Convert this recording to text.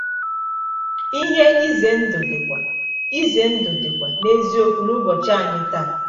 Ihe ize ndụ dịkwa ize ndụ dịkwa n’eziokwu n’ụbọchị anyị taa.